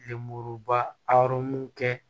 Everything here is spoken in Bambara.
ba kɛ